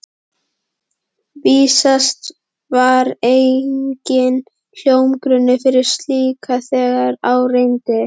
Vísast var enginn hljómgrunnur fyrir slíku, þegar á reyndi.